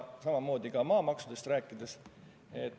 See kehtib ka maamaksude kohta.